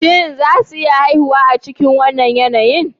Shin za su iya haihuwa a cikin wannan yanayin?